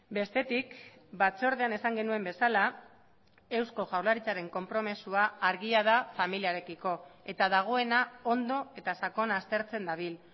bestetik batzordean esan genuen bezala eusko jaurlaritzaren konpromisoa argia da familiarekiko eta dagoena ondo eta sakon aztertzen dabil